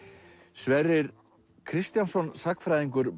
Sverrir Kristjánsson sagnfræðingur